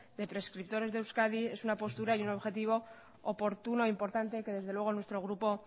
de prescriptores de euskadi es una postura y un objetivo oportuno e importante que desde luego nuestro grupo